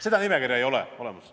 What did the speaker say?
Seda nimekirja ei ole olemas.